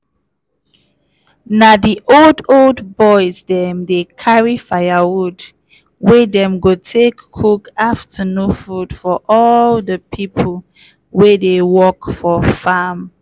na di old old boys dem dey carry firewood wey dem go take cook afternoon food for all di pipo wey dey work for farm.